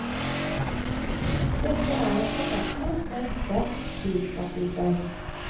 Dette er en forfatter med en sterk drivkraft i seg.